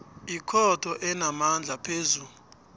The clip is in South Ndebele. ikhotho enamandla phezu